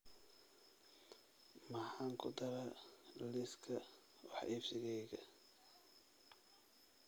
Maxaan ku daraa liiska wax iibsigayga?